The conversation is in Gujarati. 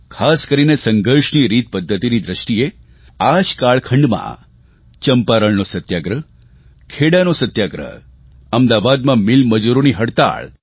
ખાસ કરીને સંઘર્ષની રીતપદ્ધતિની દ્રષ્ટિએ આ જ કાળખંડમાં ચંપારણનો સત્યાગ્રહ ખેડાનો સત્યાગ્રહ અમદાવાદમાં મિલમજૂરોની હડતાળ